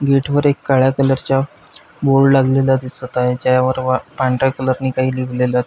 gate वर एक काळ्या कलर च्या बोर्ड लागलेला दिसत आहे ज्यावर पा पांढर्या कलर नी काही लिहिवलेल --